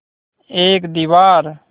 एक दीवार